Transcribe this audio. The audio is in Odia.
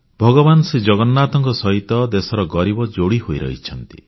ଭଗବାନ ଶ୍ରୀଜଗନ୍ନାଥଙ୍କ ସହିତ ଦେଶର ଗରିବ ଯୋଡ଼ି ହୋଇ ରହିଛନ୍ତି